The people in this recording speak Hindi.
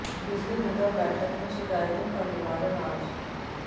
बिजली निगम बैठक में शिकायतों का निवारण आज